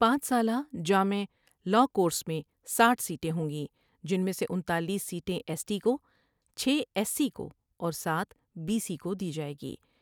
پانچ سالہ جامع لاء کورس میں ساٹھ سیٹیں ہوں گی جن میں سے انتالیس سیٹیں ایس ٹی کو ، چھ ایس سی کو ، اور سات بی سی کو دی جائے گی ۔